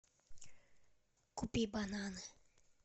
купи бананы